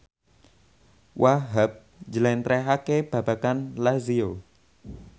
Wahhab njlentrehake babagan Lazio